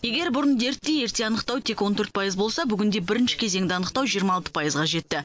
егер бұрын дертті ерте анықтау тек он төрт пайыз болса бүгінде бірінші кезеңді анықтау жиырма алты пайызға жетті